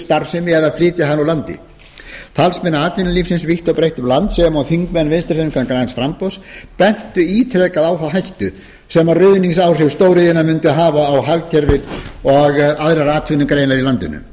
starfsemi eða flytja hana úr landi talsmenn atvinnulífsins vítt og breitt um land sem og þingmenn vinstri hreyfingarinnar græns framboðs bentu ítrekað á þá hættu sem ruðningsáhrif stóriðjunnar mundu hafa á hagkerfið og aðrar atvinnugreinar í landinu